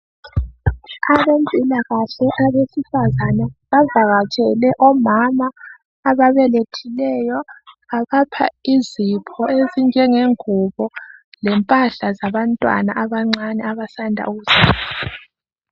abempilakahle abesifazana bavakatshele omama ababelethileyo babapha izipho ezinje ngengubo lempahla zabantwana abancane abasanda ukuzalwa